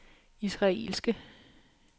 israelske